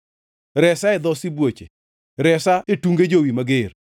Resa e dho sibuoche; resa e tunge jowi mager.